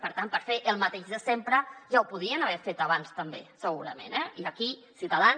per tant per fer el mateix de sempre ja ho podien haver fet abans també segurament eh i aquí ciutadans